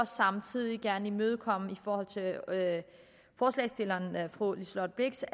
samtidig gerne imødekomme forslagsstillernes fru liselott blixt